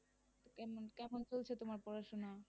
কেমন কেমন চলছে তোমার পড়াশোনা?